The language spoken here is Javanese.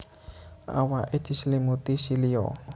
Awake diselimuti silia